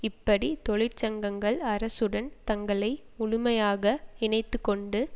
இப்படி தொழிற்சங்கங்கள் அரசுடன் தங்களை முழுமையாக இணைத்துக்கொண்டு